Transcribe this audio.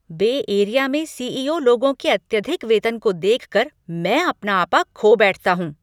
बे area में CEO. लोगों के अत्यधिक वेतन को देखकर मैं अपना आपा खो बैठता हूँ।